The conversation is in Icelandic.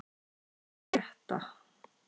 Salli, hvað er að frétta?